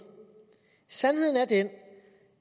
sandheden er den